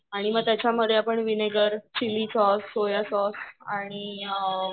आणि मग त्याच्यामध्ये आपण vinegar, chilli sauce, soya sauce आणि